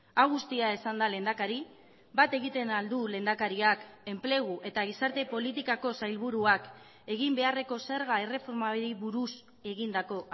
hau guztia esanda lehendakari bat egiten al du lehendakariak enplegu eta gizarte politikako sailburuak egin beharreko zerga erreformari buruz egindako